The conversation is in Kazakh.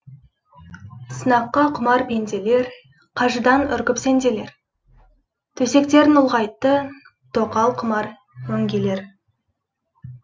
сынаққа құмар пенделер қажыдан үркіп сенделер төсектерін ұлғайтты тоқал құмар өңгелер